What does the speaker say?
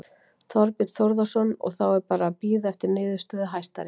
Þorbjörn Þórðarson: Og, þá er bara að bíða eftir niðurstöðu Hæstaréttar?